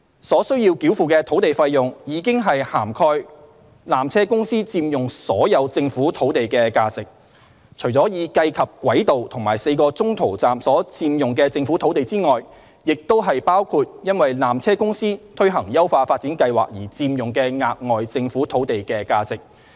所須繳付的土地費用，已涵蓋纜車公司佔用所有政府土地的價值，除已計及軌道和4個中途站所佔用的政府土地外，也包括因纜車公司推行優化發展計劃而佔用的額外政府土地的價值。